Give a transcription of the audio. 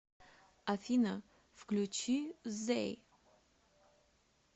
афина включи зэй